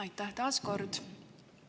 Aitäh taas kord!